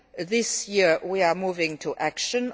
Union. This year we are moving to